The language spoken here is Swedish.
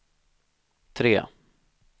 tre